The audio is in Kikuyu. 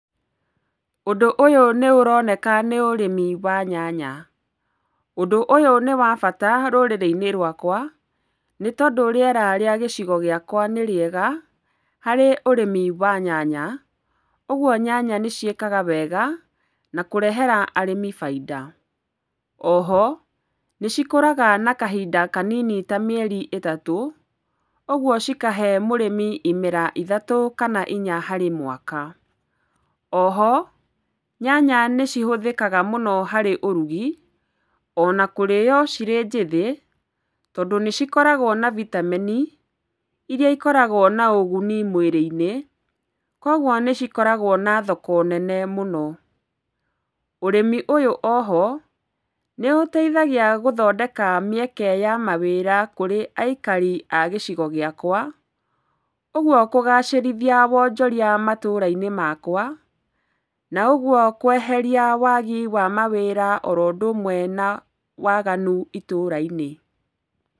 Ũndũ ũyũ nĩũroneka nĩ ũrĩmi wa nyanya. Ũndũ ũyũ nĩ wa bata rũrĩrĩ-inĩ rwaka nĩtondũ rĩera rĩa gĩcigo gĩakwa nĩ rĩega, harĩ ũrĩmi wa nyanya ũguo nyanya nĩ ciĩkaga wega na kũrehera arĩmi baida. Oho nĩ cikũraga na kahinda kanini ta mĩeri ĩtatũ, ũguo cikahe mũrĩmi imera ithatũ kana inya harĩ mwaka. Oho nyanya nĩ cihũthĩkaga mũno harĩ ũrugi ona kũrĩyo cirĩ njĩthĩ tondũ nĩcikoragwo na vitameni iria ikoragwo na ũguni mwĩrĩ-inĩ, kogwo nĩ cikoragwo na thoko nene mũno. Ũrĩmi ũyũ oho nĩũteithagia gũthondeka mĩeke ya mawĩra kũrĩ aikari a gĩcigo gĩakwa ũgwo kũgacĩrithia wonjoria matũũra-inĩ makwa, na ũguo kweheria wagi wa mawĩra oro ũndũmwe na waganu itũũra-inĩ.